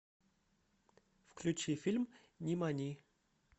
включи фильм нимани